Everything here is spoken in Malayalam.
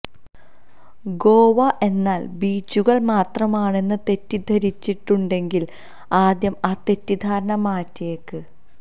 ഗോവ എന്നാൽ ബീച്ചുകൾ മാത്രമാണെന്ന് തെറ്റിദ്ധരിച്ചിട്ടുണ്ടെങ്കിൽ ആദ്യം ആ തെറ്റിദ്ധാരണ മാറ്റിയേക്ക്